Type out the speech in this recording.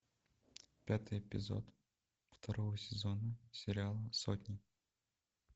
пятый эпизод второго сезона сериала сотня